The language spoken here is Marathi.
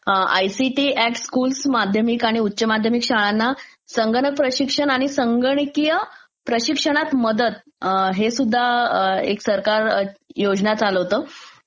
आयसीटी ऍट स्कूल्स माध्यमिक आणि उच्च माध्यमिक शाळांना संगणक प्रशिक्षण आणि संगणकिय प्रशिक्षणात मदत हेसुद्धा एक सरकार योजना चालवतं.